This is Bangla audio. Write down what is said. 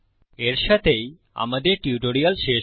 এর সাথেই আমাদের টিউটোরিয়াল শেষ হয়